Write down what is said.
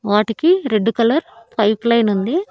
వాటికి red colour pipeline ఉంది.